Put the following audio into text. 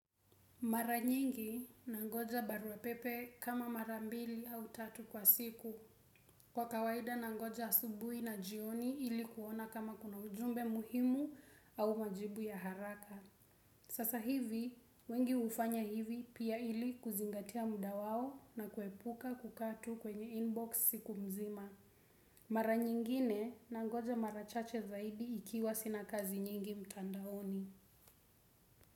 Mara nyingi nangoja barua pepe kama mara mbili au tatu kwa siku. Kwa kawaida nangoja asubuhi na jioni ili kuona kama kuna ujumbe muhimu au majibu ya haraka. Sasa hivi, wengi hufanya hivi pia ili kuzingatia muda wao na kuepuka kukaa tu kwenye inbox siku mzima. Mara nyingine nangoja mara chache zaidi ikiwa sina kazi nyingi mtandaoni.